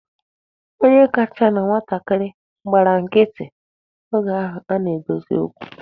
Onye kachasị na nwatakịrị gbara nkịtị oge ahụ a na-edosi okwu.